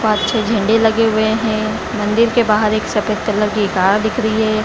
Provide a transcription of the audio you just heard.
पाँच छे झंडे लगे हुए है मंदिर के बाहर एक सफेद कलर की कार दिख रही है।